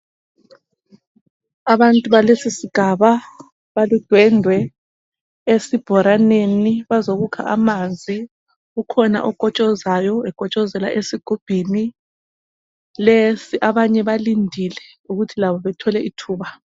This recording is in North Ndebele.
Abantu balesi sigaba baludwendwe esibhoraneni bazokukha amanzi ukhona okotshozayo ekotshozela esigubhini lesi abanye balindile ukuthi labo bethole ithuba.